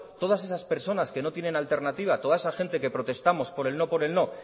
todas esas personas que no tienen alternativa toda esa gente que protestamos por el no por el no